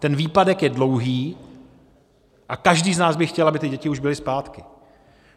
Ten výpadek je dlouhý a každý z nás by chtěl, aby ty děti už byly zpátky.